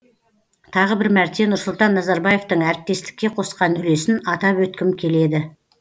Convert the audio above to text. тағы бір мәрте нұрсұлтан назарбаевтың әріптестікке қосқан үлесін атап өткім келеді